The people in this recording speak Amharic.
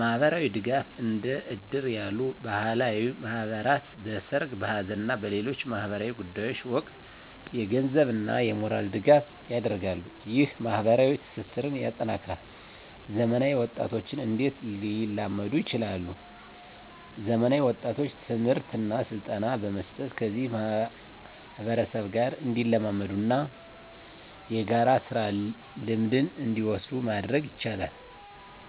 ማህበራዊ ድጋፍ: እንደ እድር ያሉ ባህላዊ ማህበራት በሠርግ፣ በሐዘን እና በሌሎች ማኅበራዊ ጉዳዮች ወቅት የገንዘብና የሞራል ድጋፍ ያደርጋሉ። ይህ ማኅበራዊ ትስስርን ያጠናክራል። *ዘመናዊ ወጣቶች እንዴት ሊላመዱ ይችላሉ፤ ዘመናዊ ወጣቶችን ትምህርትና ስልጠና በመስጠት ከዚህ ማህበረሰብ ጋር እንዲላመዱና የጋራ ስራ ልምድን እንዲወስዱ ማድረግ ይቻላል።